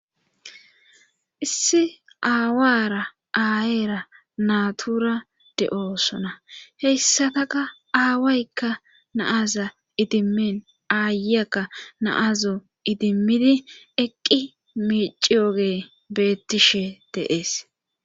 issi aawara aayeera natura de7oosona heyssataka aawaykka naaza idimmin aayeyakka naazo idimmidi eqqi miiciyooge beettishe de7ees